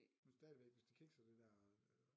Men stadigvæk hvis det kikser det dér øh